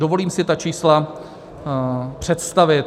Dovolím si ta čísla představit.